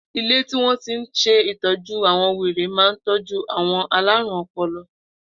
Ilé tí wọ́n ti ń se ìtọ́jú àwọn wèrè ma ń tọ́jú àwọn aláruǹ-ọpọlọ.